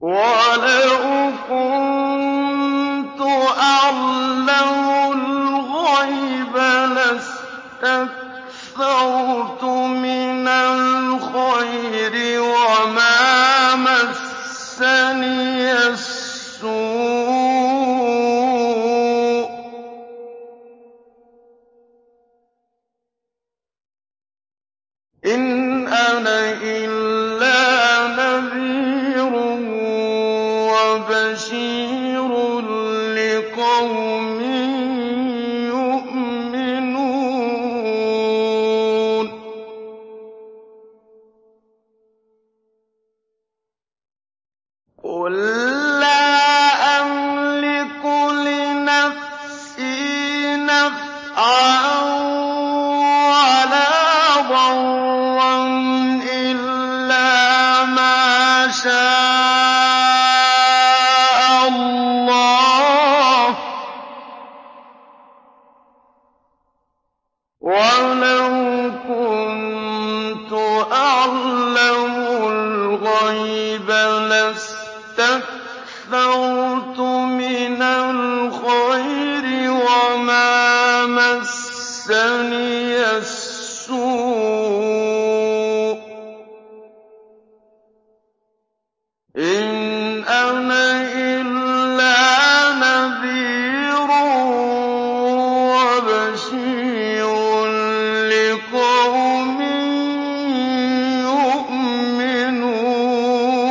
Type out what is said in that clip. وَلَوْ كُنتُ أَعْلَمُ الْغَيْبَ لَاسْتَكْثَرْتُ مِنَ الْخَيْرِ وَمَا مَسَّنِيَ السُّوءُ ۚ إِنْ أَنَا إِلَّا نَذِيرٌ وَبَشِيرٌ لِّقَوْمٍ يُؤْمِنُونَ